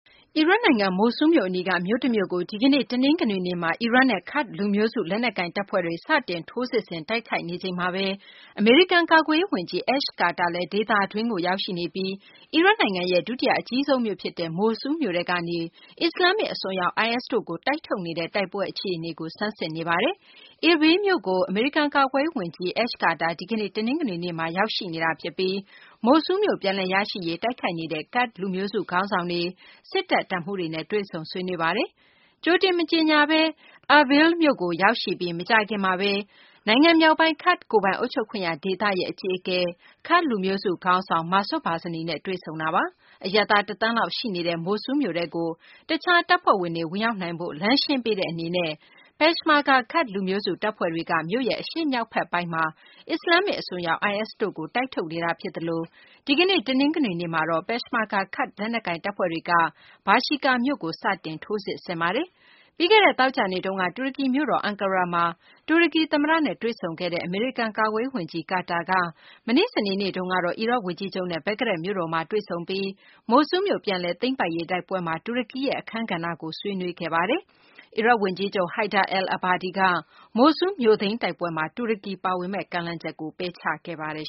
အီရတ်နိုင်ငံ မိုဆူးလ်မြို့ အနီးက မြို့တမြို့ကို ဒီကနေ့ တနင်္ဂနွေနေ့မှာ အီရတ်နဲ့ ကာဒ့်လူမျိုးစု လက်နက်ကိုင် တပ်ဖွဲ့တွေက စတင် ထိုးစစ်ဆင်တိုက်ခိုက်နေချိန်မှာဘဲ အမေရိကန် ကာကွယ်ရေး ဝန်ကြီး အက်ရှ်ကာတာလည်း ဒေသတွင်းကို ရောက်ရှိနေပြီး အီရတ်နိုင်ငံရဲ့ ဒုတိယ အကြီးဆုံးမြို့ ဖြစ်တဲ့ မိုဆူးလ်မြို့ထဲကနေ အစ္စလာမ္မစ် အစွန်းရောက် IS တို့ကို တိုက်ထုတ်နေတဲ့ တိုက်ပွဲ အခြေအနေကို ဆန်းစစ်နေပါတယ်။ Irbil မြို့ကို အမေရိကန် ကာကွယ်ရေး ဝန်ကြီး Ash Carter ဒီကနေ့ တနင်္ဂနွေနေ့မှာ ရောက်ရှိနေပြီး မိုဆူးလ်းမြို့ ပြန်လည် ရရှိရေး တိုက်ခိုက်နေတဲ့ ကာဒ့် လူမျိုးစု ခေါင်းဆောင်တွေ၊ စစ်တပ် တပ်မှူးတွေနဲ့ တွေ့ဆုံဆွေးနွေးပါတယ်။ ကြိုတင်မကြေညာဘဲ Irbil မြို့ကိုရောက်ရှိပြီး မကြာခင်မှာဘဲ နိုင်ငံမြောက်ပိုင်း ကာဒ့်ကိုယ်ပိုင်အုပ်ချုပ်ခွင့်ရ ဒေသရဲ့ အကြီးအကဲ ကာဒ့်လူမျိုးစု ခေါင်းဆောင် Masoud Barzani နဲ့ တွေဆုံခဲ့တာပါ။ အရပ်သား ၁ သန်းလောက် ရှိနေတဲ့ မိုလ်ဆူလ်းမြို့ထဲကို တခြား တပ်ဖွဲ့တွေ ဝင်ရောက်နိုင်ဖို့ လမ်းရှင်းပေးတဲ့ အနေနဲ့ ပက်ရှ်မာဂါ ကာဒ့် လူမျိုးစု တပ်ဖွဲ့တွေက မြို့ရဲ့ အရှေ့မြောက်ဘက်ပိုင်းမှာ အစ္စလာမ္မစ် အစွန်းရောက် IS တို့ကို တိုက်ထုတ်နေတာဖြစ်သလို ဒီကနေ့ တနင်္ဂနွေနေ့မှာတော့ ပက်ရှ်မာဂါ ကာဒ့်လက်နက်ကိုင်တပ်ဖွဲ့တွေက ဘာရှီကာမြို့ကို စတင် ထိုးစစ်ဆင်ပါတယ်။ ပြီးခဲ့တဲ့ သောကြာနေ့တုန်းက တူရကီ မြို့တော် အန်ကာရာမှာ တူရကီ သမ္မတနဲ့ တွေ့ဆုံခဲ့တဲ့ အမေရိကန် ကာကွယ်ရေးဝန်ကြီး ကာတာက မနေ့ စနေနေ့မှာ အီရတ် ဝန်ကြီးချုပ်နဲ့ ဘဂ္ဂဒက်မြို့တော်က တွေ့ဆုံမှုမှာ မိုလ်ဆူးမြို့ ပြန်လည် သိမ်းပိုက်ရေး တိုက်ပွဲမှာ တူရကီရဲ့ အခန်းကဏ္ဍကို ဆွေးနွေးခဲ့တာပါ။ အီရတ်ဝန်ကြီးချုပ် Haider al-Abadi က မိုလ်ဆူးလ်မြို့သိမ်း တိုက်ပွဲမှာ တူရကီ ပါဝင်မယ့် ကမ်းလှမ်းချက်ကို ပယ်ချခဲ့ပါတယ်